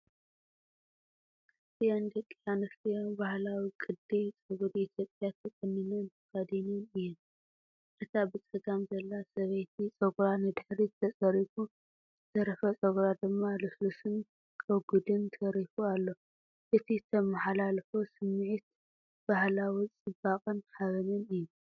ክልቲአን ደቂ ኣንስትዮ ባህላዊ ቅዲ ጸጉሪ ኢትዮጵያ ተቆኒንን ተኸዲነን እየን። እታ ብጸጋም ዘላ ሰበይቲ ጸጉራ ንድሕሪት ተጸሪጉ፡ ዝተረፈ ጸጉራ ድማ ልስሉስን ረጒድን ተሪፉ ኣሎ። እቲ እተመሓላልፎ ስምዒት ባህላዊ ጽባቐን ሓበንን እዩ።